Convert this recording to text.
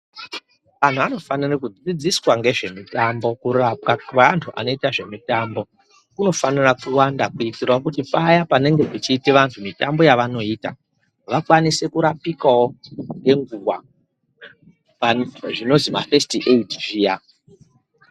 Vantu vanofanire kudzidziswa ngezvemitambo. Kurapwa kwevantu vanoite ngezvemitambo kunofanire kuwanda kuitire kuti paya panenge pachiita vantu mitambo yavanoita vakwanise kurapikawo ngenguva zvinozwi fesiti eyidhi zviya.